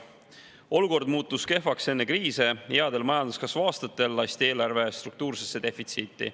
Olukord muutus kehvaks enne kriise, headel majanduskasvu aastatel lasti eelarve struktuursesse defitsiiti.